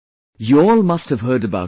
You all must have heard about it